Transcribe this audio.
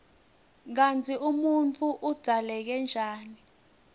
kutsi umuntfu udzaleke njani